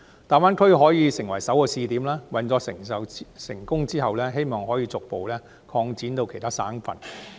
大灣區可以成為首個試點，運作成功後，可以逐步擴展到其他省份。